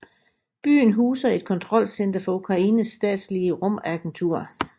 Byen huser et kontrolcenter for Ukraines statslige rumagentur